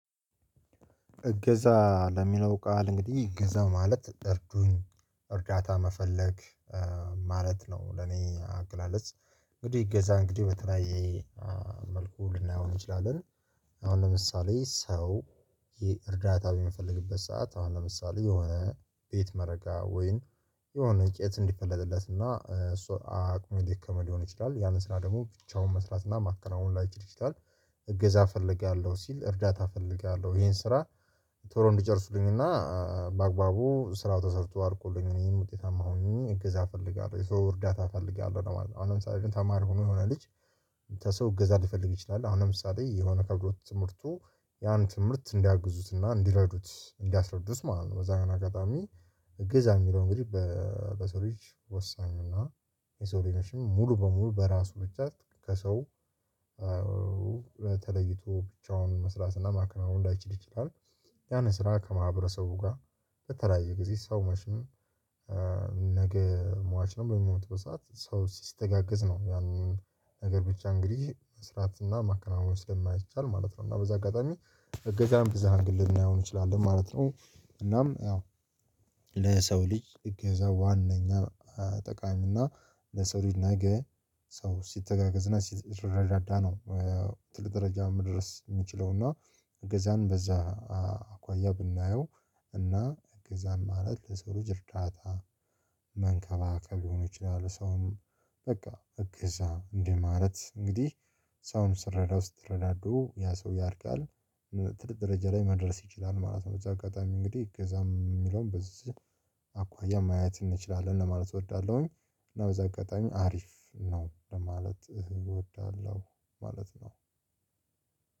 እገዛ ለሚለው ቃል እንግዲህ እገዛ ማለት እርዱኝ እርዳታ መፈለግ ማለት ነው። ለኔ አገላለጽ እንግዲህ እገዛ እንግዲህ በተለያየ መልኩ ልናየው እንችላለን። አሁን ለምሳሌ ሰው ይሄ እርዳታ በሚፈልግበት ሰዓት አሁን ለምሳሌ የሆነ ቤት መረጋ ወይም የሆነ እንጨት እንዲፈለጥለት እና እሱ አቅም የደከመድ ሊሆን ይችላል ያንን ስራ ደግሞ ብቻውን መስራት እና ማካናውን ላይችል ይችላል። እገዛ እፈለጋለሁ ሲል እርዳታ እፈለጋለሁ ይሄን ስራ ቶሎ እንዲጨርሱልኝ እና በአግባቡ ስራው ተሰርቶ አልቆልኝ እኔም ውጤታማ ሆኜ እገዛ እፈልጋለሁ የሰው እርዳታ እፈልጋለሁ ነው ማለት ነው። አሁን ለምሳሌ ግን ተማሪ ሆኖ የሆነ ልጅ ከሰው እገዛ ሊፈልግ ይችላል። አሁን ለምሳሌ የሆነ ከብዶት ትምህርቱ ያን ትምህርት እንዲያግዙትና እንዲረዱት እንዲያስረዱት ማለት ነው። በዛ በሆነ አጋጣሚ እግዛ እሚለው እንግዲህ በሰው ልጅ ወሳኝ እና የሰው ልጅ መችም ሙሉ በሙሉ በራሱ ብቻ ከሰው በተለይቶ ብቻውን መስራት እና ማክናወን ላይችል ይችላል። ያን ስራ ከማህበረሰቡ ጋር በተለያየ ጊዜ ሰው መችም ነገ ሟች ነው በሚሞቱበት ሰዓት ሰው ሲስተጋገዝ ነው ያንን ነገር ብቻ እንግዲህ መስራት እና ማከናወን ስለማይቻል ማለት ነው። እና በዛ አጋጣሚ እገዛም በብዙ አንግል ልናየው እንችላለን ማለት ነው። እናም ያው ለሰው ልጅ እገዛ ዋናኛ ጠቃሚና ለሰው ልጅ ነገ ሰው ሲተጋገዝ እና ሲረዳዳ ነው። ትልቅ ደረጃ መድረስ እሚችለው እና እገዛን በዛ አኳያ ብናየው እና እግዛን ማለት ለሰው ልጅ እርዳታ መንከባከብ ሊሆን ይችላል። ሰውም በቃ እገዛ እንደማረት እንግዲህ ሰውም ስረዳው ስትረዳዱ ያ ሰው ያድጋል ትርቅ ደረጃ ላይ መድረስ ይችላል ማለት ነው። በዛ አጋጣሚ እንግዲህ እገዛም የሚለውን በዚህ አኳያ ማየት እንችላለን ለማለት እወዳለሁኝ። እና በዛ አጋጣሚ አሪፍ ነው ለማለት እወዳለሁ። ማለት ነው።